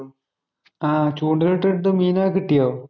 ആഹ് ചൂണ്ടയിലിട്ടിട്ട് മീനൊക്കെ കിട്ടിയോ?